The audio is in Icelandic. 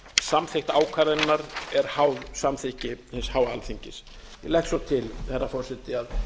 samþykkt ákvörðunarinnar er háð samþykki hins háa alþingis ég legg svo til herra forseti að